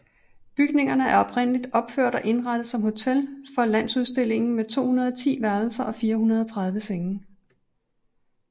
Bygningerne er oprindeligt opført og indrettet som hotel for Landsudstillingen med 210 værelser og 430 senge